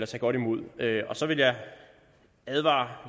tage godt imod så vil jeg advare